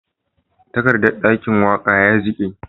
Takardan dakin waka ya jike